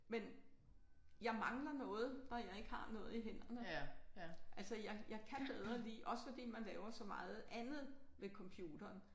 Men jeg mangler noget når jeg ikke har noget i hænderne. Altså jeg jeg kan bedre lide også fordi man laver så meget andet ved computeren